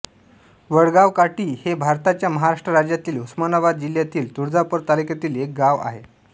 वडगावकाटी हे भारताच्या महाराष्ट्र राज्यातील उस्मानाबाद जिल्ह्यातील तुळजापूर तालुक्यातील एक गाव आहे